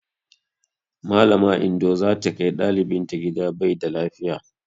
Mallama Indo za ta kai ɗalibinta gida bai da lafiya.